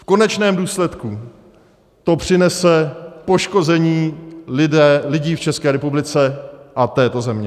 V konečném důsledku to přinese poškození lidí v České republice a této země.